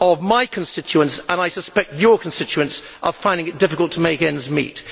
my constituents and, I suspect, of his constituents, are finding it difficult to make ends meet.